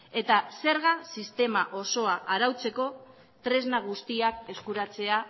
eta zerga sistema osoa arautzeko tresna guztiak eskuratzea